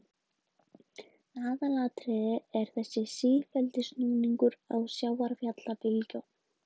Aðalatriðið er þessi sífelldi snúningur á sjávarfallabylgjunum.